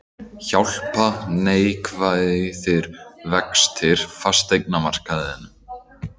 Hjálpa neikvæðir vextir fasteignamarkaðinum